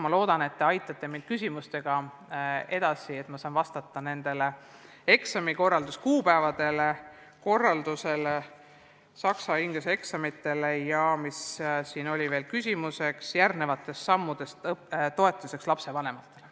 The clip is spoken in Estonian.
Ma loodan, et te aitate mind küsimustega edasi, nii et ma saan vastata ka eksamite kuupäevade ja korralduse kohta, saksa ja inglise keele eksamite kohta ja – mis siin oli veel küsimuseks – järgnevate sammude kohta seoses õppetoetuste andmisega lapsevanematele.